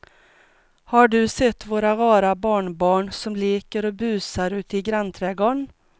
Har du sett våra rara barnbarn som leker och busar ute i grannträdgården!